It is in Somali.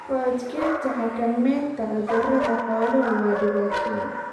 Ku adkaanta xakamaynta cudurrada xooluhu waa dhibaato weyn.